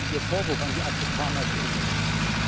Ihr Vorwurf an die Afrikaner ist ungerecht.